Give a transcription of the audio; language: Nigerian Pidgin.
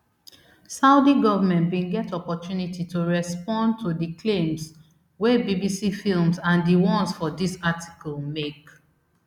saudi government bin get opportunity to respond to di claims wey bbc films and di ones for dis article make